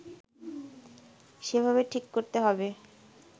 সেভাবে ঠিক করতে হবে